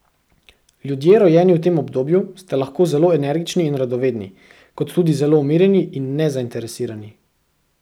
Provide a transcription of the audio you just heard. Ljudje, rojeni v tem obdobju, ste lahko zelo energični in radovedni, kot tudi zelo umirjeni in nezainteresirani.